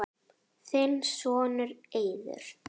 Þinn sonur, Eiður.